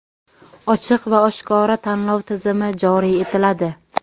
ochiq va oshkora tanlov tizimi joriy etiladi.